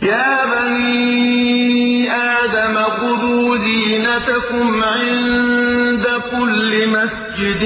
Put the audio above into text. ۞ يَا بَنِي آدَمَ خُذُوا زِينَتَكُمْ عِندَ كُلِّ مَسْجِدٍ